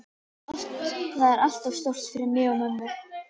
Þetta er allt of stórt fyrir mig og mömmu.